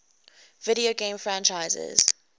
video game franchises